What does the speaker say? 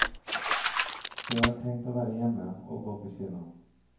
De har tenkt å være hjemme og å gå på kino.